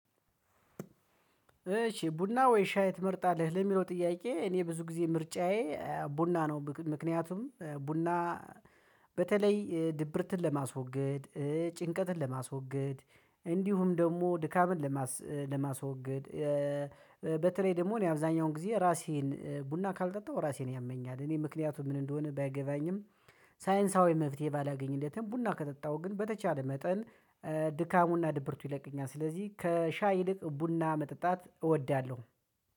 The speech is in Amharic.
እሽ ቡና ወይ ሻይ ትመርጣለህ ለሚለው ጥያቄ? እኔ ብዙ ጊዜ ምርጫዬ ቡና ነው። ምክንያቱም ቡና በተለይ ድብርትን ለማስወገድ ጭንቀትን ለማስወገድ። እንዲሁም ደግሞ ድካምን ለማስወገድ። በተለይ ደግሞ እኔ አብዛኛውን ጊዜ ራሴን ቡና ካልጠጣሁ ራሴን ያመኛል። እኔ ምክንያቱም ምን እንደሆነ ባይገባኝም። ሳይንሳዊ መፍትሄ ባላገኝለትም ቡና ከጠጣሁ ግን በተቻለ መጠን ድካሙና ድብርቱ ይለቅኛል። ስለዚህ ከሻይ ይልቅ ቡና መጠጣት እወዳለሁ።